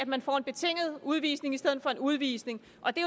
man får en betinget udvisning i stedet for en udvisning og det